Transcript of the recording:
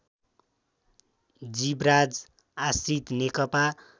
Jivraj Ashrit Nekapa